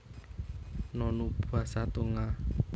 Nonu basa Tonga